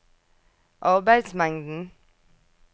arbeidsmengden